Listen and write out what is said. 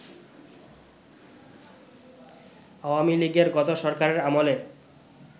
আওয়ামী লীগের গত সরকারের আমলে